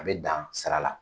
A bɛ dan sira la